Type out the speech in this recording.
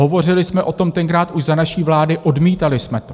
Hovořili jsme o tom tenkrát už za naší vlády, odmítali jsme to.